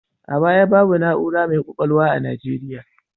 A baya, babu na'ura mai ƙwaƙwalwa a Nigeriya.